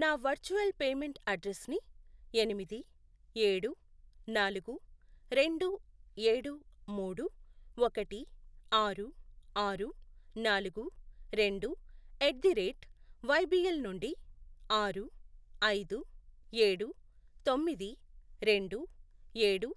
నా virtual payment అడ్రెస్సుని ఎనిమిది, ఏడు, నాలుగు, రెండు, ఏడు, మూడు, ఒకటి, ఆరు, ఆరు, నాలుగు, రెండు, ఎట్ ది రేట్ వైబీఎల్ నుండి ఆరు, ఐదు, ఏడు, తొమ్మది, రెండు, ఏడు,